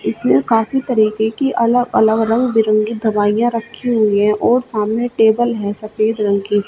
जिसमें काफी तरह के अलग अलग रंग बिरंगे दवाइयां रखी हुई है और सामने टेबल है सफेद रंग की।